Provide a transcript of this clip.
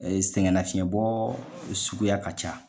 sɛgɛn nafiyɛnbɔ suguya ka ca.